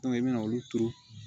i bɛna olu turu